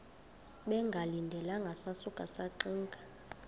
bengalindelanga sasuka saxinga